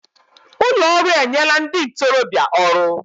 Ụlọ ọrụ enyela ndị ntorobịa ọrụ